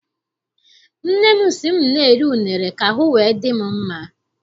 Nne m sị m na-eri unere ka ahụ wee dị m mma.